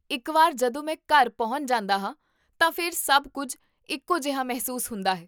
ਇੱਕ ਵਾਰ ਜਦੋਂ ਮੈਂ ਘਰ ਪਹੁੰਚ ਜਾਂਦਾ ਹਾਂ, ਤਾਂ ਫਿਰ ਸਭ ਕੁੱਝ ਇੱਕੋ ਜਿਹਾ ਮਹਿਸੂਸ ਹੁੰਦਾ ਹੈ